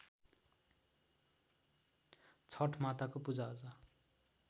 छठ माताको पूजाआजा